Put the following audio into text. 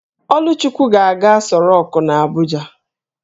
Oluchukwu ga-aga Aso rock n'Abuja